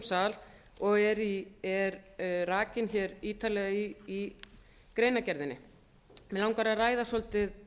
sal og er rakin hér ítarlega í greinargerðinni mig langar að ræða svolítið